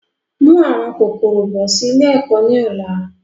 Mú àwọn kòkòrò bọ̀ sì ilé ẹ̀kọ́ ni ọ̀la!